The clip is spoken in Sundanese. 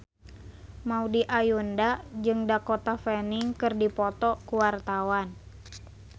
Maudy Ayunda jeung Dakota Fanning keur dipoto ku wartawan